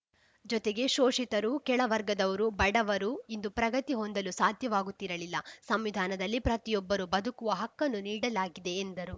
ಜೊತೆಗೆ ಶೋಷಿತರು ಕೆಳ ವರ್ಗದವರು ಬಡವರು ಇಂದು ಪ್ರಗತಿ ಹೊಂದಲು ಸಾಧ್ಯವಾಗುತ್ತಿರಲಿಲ್ಲ ಸಂವಿಧಾನದಲ್ಲಿ ಪ್ರತಿಯೊಬ್ಬರು ಬದುಕುವ ಹಕ್ಕನ್ನು ನೀಡಲಾಗಿದೆ ಎಂದರು